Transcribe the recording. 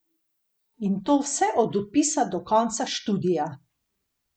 In to vse od vpisa do konca študija.